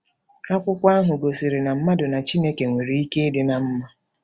Akwụkwọ ahụ gosiri na mmadụ na Chineke nwere ike ịdị ná mma.